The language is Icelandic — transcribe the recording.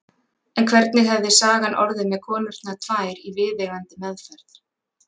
En hvernig hefði sagan orðið með konurnar tvær í viðeigandi meðferð?